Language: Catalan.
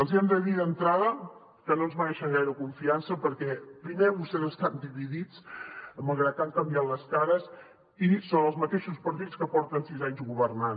els hi hem de dir d’entrada que no ens mereixen gaire confiança perquè primer vostès estan dividits malgrat que han canviat les cares i són els mateixos partits que porten sis anys governant